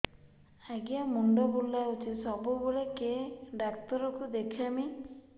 ଆଜ୍ଞା ମୁଣ୍ଡ ବୁଲାଉଛି ସବୁବେଳେ କେ ଡାକ୍ତର କୁ ଦେଖାମି